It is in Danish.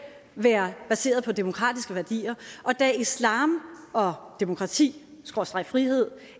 være baseret på demokratiske værdier og da islam og demokrati skråstreg frihed